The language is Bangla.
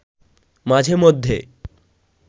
মাঝে মধ্যে